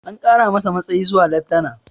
An kara masa matsayi zuwa leftana